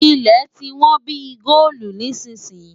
Ilẹ̀ tí wón bí i góòlu nísìnyín.